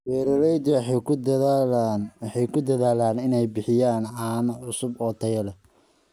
Beeraleydu waxay ku dadaalaan inay bixiyaan caano cusub oo tayo leh.